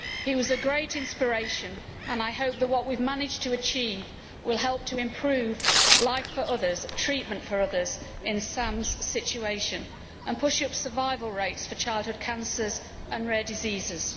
He was a great inspiration and I hope that what we have managed to achieve will help to improve life for others and treatment for others in Sam's situation, and push up survival rates for childhood cancers and rare diseases.